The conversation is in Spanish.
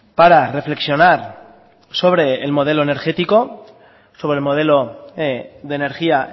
para reflexionar sobre el modelo energético sobre el modelo de energía